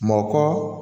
Mɔkɔ